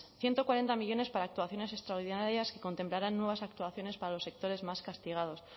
ciento cuarenta millónes para actuaciones extraordinarias que contemplarán nuevas actuaciones para los sectores más castigados